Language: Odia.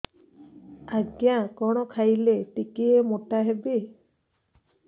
ଆଜ୍ଞା କଣ୍ ଖାଇଲେ ଟିକିଏ ମୋଟା ହେବି